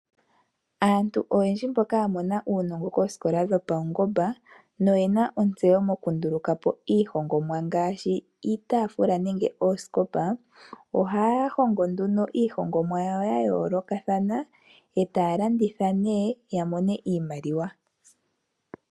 Aantu oyendji mboka ya mona uunongo koosikola dhopaungomba noyena ontseyo moku nduluka po iihongomwa ngaashi iitaafula nenge oosikopa, ohaya hongo nduno iihongomwa yawo ya yoolokathana, e taya landitha nee ya mone iimaliwa.